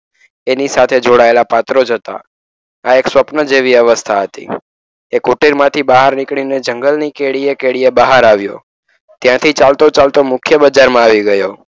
એની સાથે જોડાયેલા પાત્રો જ હતા. આ એક સ્વપ્ન જેવી અવસ્થા હતી. એ કુટેરમાંથી બહાર નીકળીને જંગલની કેડીએ બહાર આવ્યો. ત્યાંથી ચાલતો ચાલતો મુખ્ય બજારમાં આવી ગયો.